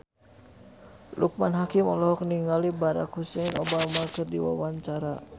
Loekman Hakim olohok ningali Barack Hussein Obama keur diwawancara